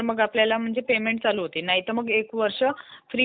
आणि त्याच्यामध्ये काम करण्यासाठी आपल्याला त्याला इंस्ट्रक्शन द्याव्या लागतात